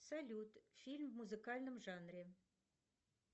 салют фильм в музыкальном жанре